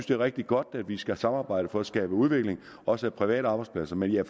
det er rigtig godt at vi skal samarbejde for at skabe udvikling også af private arbejdspladser men jeg